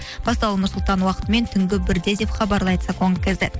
басталуы нұр сұлтан уақытымен түнгі бірде деп хабарлайды